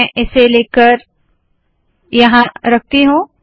मैं इसे लेकर यहाँ रखती हूँ